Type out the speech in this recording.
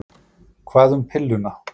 Hvað um pilluna?